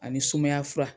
Ani sumaya fura